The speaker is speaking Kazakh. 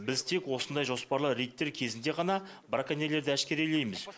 біз тек осындай жоспарлы рейдтер кезінде ғана браконьерлерді әшкерелейміз